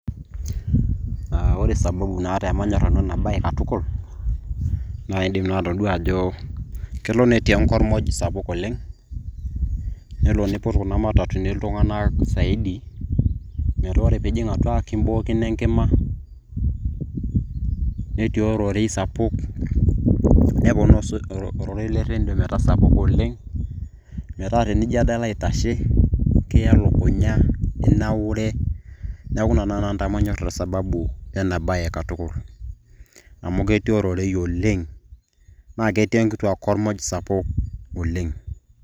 Ah ore sababu naata pemanyor nanu enabae katukul, na iidim naa atodua ajo kelo netii enkormoj sapuk oleng'. Nelo niput kuna matatuni iltung'anak saidi metaa ore piijing' atua nikibookino enkima, netii ororei sapuk, neponaa ororei le rredio metaa sapuk oleng'. Na tenijo ade alo aitashe, kita elukunya, itabaure. Neeku ina nai nanu pamanyor isababu ena bae katukul. Amu ketii ororei oleng',na ketii enkitiaa kormoj sapuk oleng'.